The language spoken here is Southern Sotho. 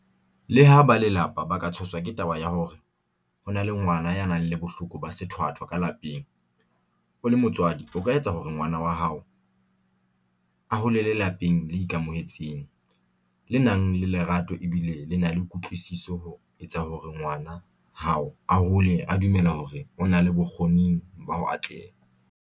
Leha ba lelapa ba ka tshoswa ke taba ya hore ho na le ngwana ya nang le bohloko ba sethwathwa ka lapeng, o le motswadi o ka etsa hore ngwana wa hao a holele lapeng le ikamohetseng, le nang le lerato e bile le na le kutlwisiso ho etsa hore ngwana hao a hole a dumela hore o na le bokgo-ning ba ho atleha.